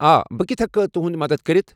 آ، بہٕ کِتھہ ہٮ۪کہٕ تُہند مدتھ کٔرِتھ؟